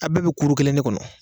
Aw bɛɛ be kuru kelen ne kɔnɔ